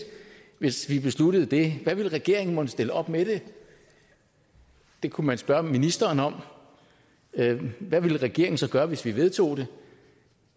hvis vi besluttede det hvad vil regeringen mon stille op med det det kunne man spørge ministeren om hvad vil regeringen så gøre hvis vi vedtager det